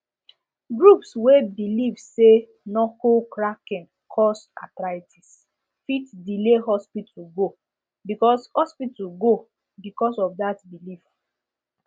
groups wey believe say knuckle cracking cause arthritis fit delay hospital go because hospital go because of that belief